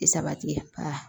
I sabati